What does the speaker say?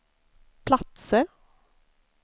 platser